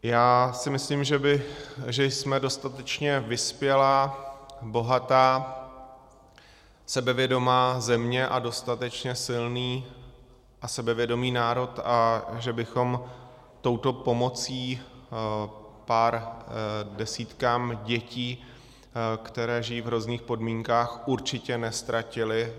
Já si myslím, že jsme dostatečně vyspělá, bohatá, sebevědomá země a dostatečně silný a sebevědomý národ a že bychom touto pomocí pár desítkám dětí, které žijí v hrozných podmínkách, určitě neztratili.